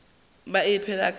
be a phela ka go